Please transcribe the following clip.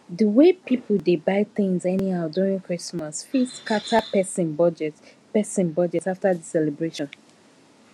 the way people dey buy things anyhow during christmas fit scatter person budget person budget after the celebration